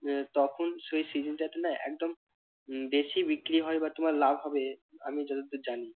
আহ তখন সেই season টাতে না একদম উহ বেশি বিক্রি হয় বা তোমার লাভ হবে আমি যতদূর জানি।